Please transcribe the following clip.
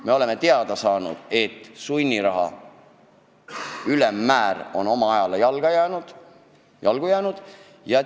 Me oleme teada saanud, et sunniraha ülemmäär on ajale jalgu jäänud.